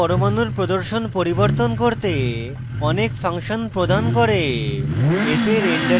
popup menu পরমাণুর প্রদর্শন পরিবর্তন করতে অনেক ফাংশন প্রদান করে